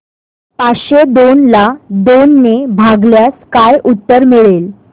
पाचशे दोन ला दोन ने भागल्यास काय उत्तर मिळेल